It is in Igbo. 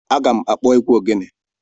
Aga m akpọ egwu ogele.